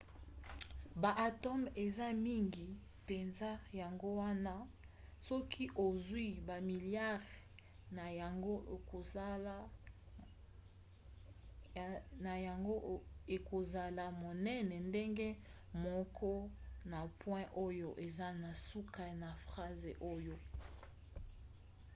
baatome eza mike mpenza yango wana soki ozwi bamiliare na yango ekozala monene ndenge moko na point oyo eza na suka ya phrase oyo